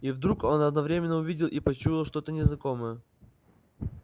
и вдруг он одновременно увидел и почуял что-то незнакомое